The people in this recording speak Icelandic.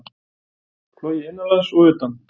Flogið innanlands og utan